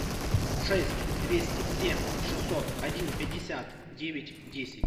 шесть двести семь шестьсот один пятьдесят девять десять